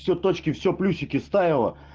все точки все плюсики ставила